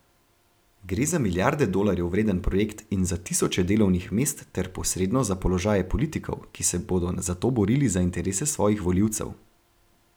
Gre za milijarde dolarjev vreden projekt in za tisoče delovnih mest ter posredno za položaje politikov, ki se bodo zato borili za interese svojih volivcev.